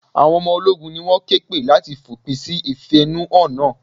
Àwọn ọmọ ológun ni wón ké pè láti fòpin sí ìfẹ̀húnú hàn náà.